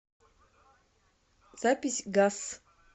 запись гас